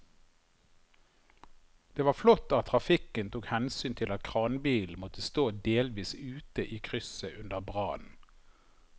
Det var flott at trafikken tok hensyn til at kranbilen måtte stå delvis ute i krysset under brannen.